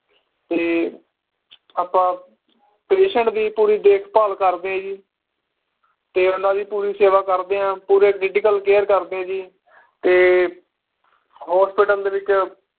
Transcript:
ਤੇ ਆਪਾਂ patient ਦੀ ਪੂਰੀ ਦੇਖ ਭਾਲ ਕਰਦੇ ਆ ਜੀ ਤੇ ਉਹਨਾਂ ਦੀ ਪੂਰੀ ਸੇਵਾ ਕਰਦੇ ਆ ਪੂਰੇ critical care ਕਰਦੇ ਆ ਜੀ ਤੇ hospital ਦੇ ਵਿਚ